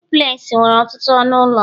duplex nwere ọtụtụ ọnụ ụlọ